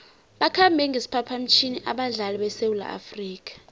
bakhambe ngesiphaphamtjhini abadlali besewula afrika